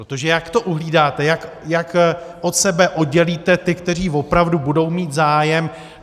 Protože jak to uhlídáte, jak od sebe oddělíte ty, kteří opravdu budou mít zájem?